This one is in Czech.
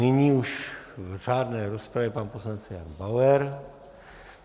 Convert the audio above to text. Nyní už v řádné rozpravě pan poslanec Jan Bauer.